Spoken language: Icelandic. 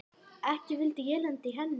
Ekki vildi ég lenda í henni!